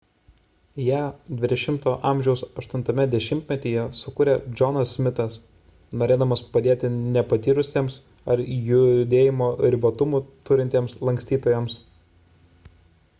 ją xx a 8 dešimtmetyje sukūrė johnas smithas norėdamas padėti nepatyrusiems ar judėjimo ribotumų turintiems lankstytojams